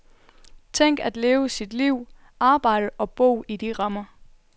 Tænk at leve sit liv, arbejde og bo i de rammer.